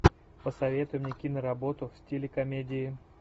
посоветуй мне киноработу в стиле комедии